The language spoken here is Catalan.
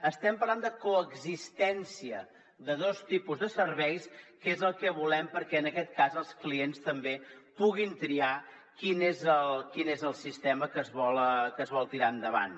estem parlant de coexistència de dos tipus de serveis que és el que volem perquè en aquest cas els clients també puguin triar quin és el sistema que es vol tirar endavant